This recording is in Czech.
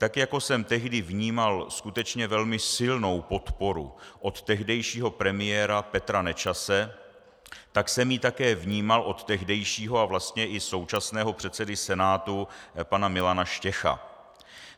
Tak jako jsem tehdy vnímal skutečně velmi silnou podporu od tehdejšího premiéra Petra Nečase, tak jsem ji také vnímal od tehdejšího a vlastně i současného předsedy Senátu pana Milana Štěcha.